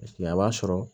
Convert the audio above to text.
a b'a sɔrɔ